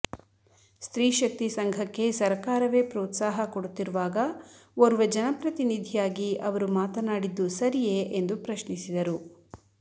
ಸ್ತ್ರೀ ಶಕ್ತಿ ಸಂಘಕ್ಕೆ ಸರಕಾರವೇ ಪ್ರೋತ್ಸಾಹ ಕೊಡುತ್ತಿರುವಾಗ ಓರ್ವ ಜನಪ್ರತಿನಿಧಿಯಾಗಿ ಅವರು ಮಾತನಾಡಿದ್ದು ಸರಿಯೇ ಎಂದು ಪ್ರಶ್ನಿಸಿದರು